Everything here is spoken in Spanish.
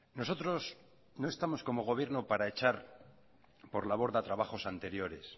nosotros no estamos como gobierno para echar por la borda trabajos anteriores